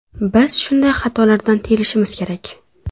Biz shunday xatolardan tiyilishimiz kerak”.